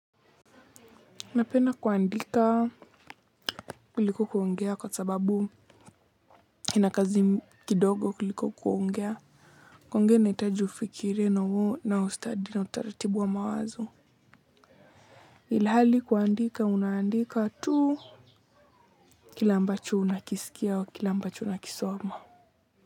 Napenda kuandika kuliko kuongea kwa sababu ina kazi kidogo kuliko kuongea. Koungea inahitaji ufikirie na ustadi na utaratibu wa mawazo. Ilhali kuandika, unaandika tu kila ambacho unakisikia au kila ambacho unakisoma.